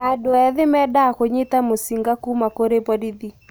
Andũ ethĩ mendaga kũnyita mũcinga kũũma kũri borithi